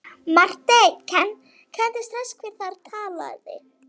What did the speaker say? Marteinn kenndi strax hver þar talaði.